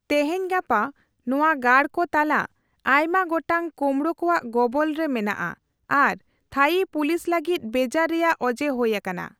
ᱛᱮᱦᱮᱧ ᱜᱟᱯᱟ, ᱱᱚᱣᱟ ᱜᱟᱲ ᱠᱚ ᱛᱟᱞᱟ ᱟᱭᱢᱟ ᱜᱚᱴᱟᱝ ᱠᱳᱢᱲᱳ ᱠᱚᱣᱟ ᱜᱚᱵᱚᱞᱨᱮ ᱢᱮᱱᱟᱜᱼᱟ ᱟᱨ ᱛᱷᱟᱭᱤ ᱯᱩᱞᱤᱥ ᱞᱟᱹᱜᱤᱫ ᱵᱮᱡᱟᱨ ᱨᱮᱭᱟᱜ ᱚᱡᱮ ᱦᱳᱭ ᱟᱠᱟᱱᱟ ᱾